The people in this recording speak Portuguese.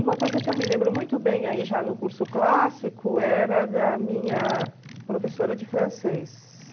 Uma coisa que eu me lembro muito bem, aí já no curso clássico, era da minha professora de francês.